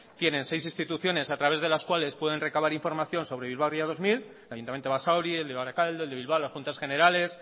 tienen seis instituciones a través de las cuales pueden recabar información sobre bilbao ría dos mil el ayuntamiento de basauri el de barakaldo el de bilbao las juntas generales